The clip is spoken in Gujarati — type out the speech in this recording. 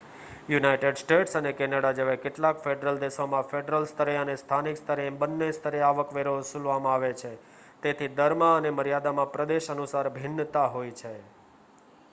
યુનાઇટેડ સ્ટેટ્સ અને કેનેડા જેવા કેટલાક ફેડરલ દેશોમાં ફેડરલ સ્તરે અને સ્થાનિક સ્તરે એમ બન્ને સ્તરે આવકવેરો વસૂલવામાં આવે છે તેથી દરમાં અને મર્યાદામાં પ્રદેશ અનુસાર ભિન્નતા હોય છે